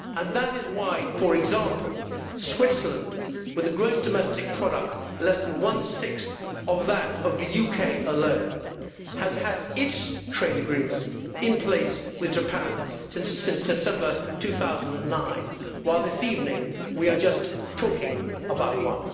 That is why, for example, Switzerland, with a gross domestic product less than one sixth of that of the UK alone, has had its trade agreement in place with Japan since December 2009, while this evening we are just talking about one.